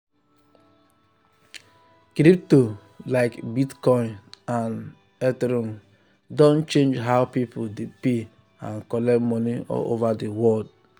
crypto like bitcoin and ethereum don change how people dey pay and collect money all over the world.